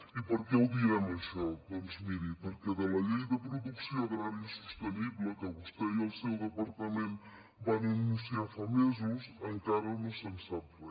i per què ho diem això doncs miri perquè de la llei de producció agrària sostenible que vostè i el seu departament van anunciar fa mesos encara no se’n sap re